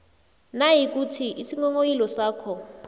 nayikuthi isinghonghoyilo sakho